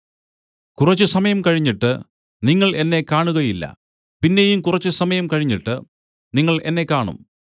കുറച്ചുസമയം കഴിഞ്ഞിട്ട് നിങ്ങൾ എന്നെ കാണുകയില്ല പിന്നെയും കുറച്ചുസമയം കഴിഞ്ഞിട്ട് നിങ്ങൾ എന്നെ കാണും